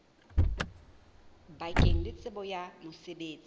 bakeng la tsebo ya mosebetsi